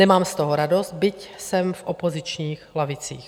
Nemám z toho radost, byť jsem v opozičních lavicích.